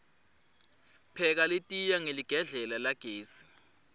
pheka litiya hqeligedlela lagesi